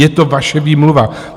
Je to vaše výmluva.